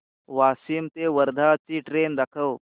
वाशिम ते वर्धा ची ट्रेन दाखव